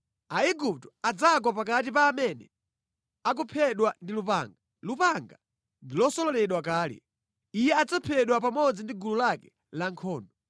Aigupto adzagwa pakati pa amene akuphedwa ndi lupanga. Lupanga ndi losololedwa kale. Iye adzaphedwa pamodzi ndi gulu lake lankhondo.